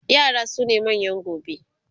yara sune manyan gobe